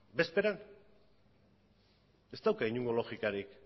bezperan ez dauka inongo logikarik